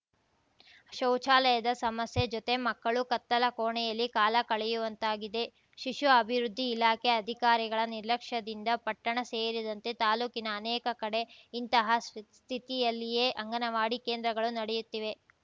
ಶೌಚಾಲಯದ ಸಮಸ್ಯೆ ಜೊತೆ ಮಕ್ಕಳು ಕತ್ತಲ ಕೋಣೆಯಲ್ಲಿ ಕಾಲ ಕಳೆಯುವಂತಾಗಿದೆ ಶಿಶು ಅಭಿವೃದ್ಧಿ ಇಲಾಖೆ ಅಧಿಕಾರಿಗಳ ನಿರ್ಲಕ್ಷ್ಯದಿಂದ ಪಟ್ಟಣ ಸೇರಿದಂತೆ ತಾಲೂಕಿನ ಅನೇಕ ಕಡೆ ಇಂತಹ ಸ್ಥಿತಿಯಲ್ಲಿಯೇ ಅಂಗನವಾಡಿ ಕೇಂದ್ರಗಳು ನಡೆಯುತ್ತಿವೆ